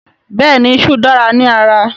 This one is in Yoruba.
Bẹ́ẹ̀ni iṣú dára ní ara